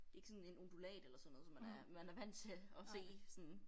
Det ikke sådan en undulat eller sådan noget som man er man er vant til at se sådan